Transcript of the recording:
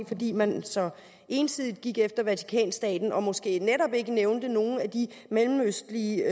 fordi man så ensidigt gik efter vatikanstaten og måske netop ikke nævnte nogen af de mellemøstlige